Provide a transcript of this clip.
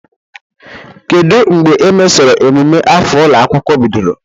Kedu mbe emesoro emume afọ ụlọ akwụkwọ bidoro?